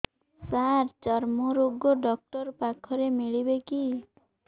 ସାର ଚର୍ମରୋଗ ଡକ୍ଟର ପାଖରେ ମିଳିବେ କି